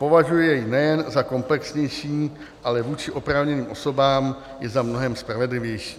Považuji jej nejen za komplexnější, ale vůči oprávněným osobám i za mnohem spravedlivější.